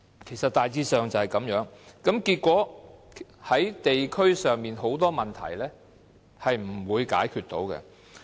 其實大致上就是這樣，結果導致地區上很多問題都無法解決。